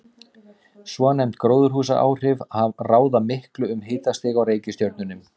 Svonefnd gróðurhúsaáhrif ráða miklu um hitastig á reikistjörnunum.